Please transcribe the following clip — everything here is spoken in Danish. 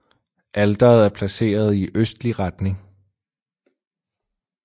Alteret er placeret i østlig retning